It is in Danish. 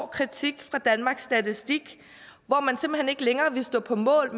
hård kritik fra danmarks statistik hvor man simpelt hen ikke længere ville stå på mål